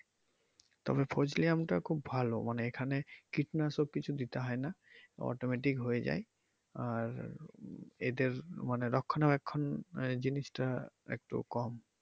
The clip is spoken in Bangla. তবে ফজলি আম টা খুব ভালো মানে এখানে কীটনাশক কিছু দিতে হয় না automatic হয়ে যায় আর এদের মানে রক্ষণাবেক্ষণ আহ জিনিস টা একটু কম।